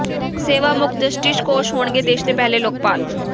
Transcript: ਸੇਵਾ ਮੁਕਤ ਜਸਟਿਸ ਘੋਸ਼ ਹੋਣਗੇ ਦੇਸ਼ ਦੇ ਪਹਿਲੇ ਲੋਕਪਾਲ